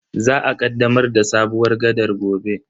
Za a kaddamar da sabuwar gaɗar gobe.